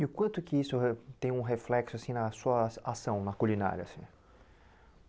E o quanto que isso re tem um reflexo assim na sua ação na culinária?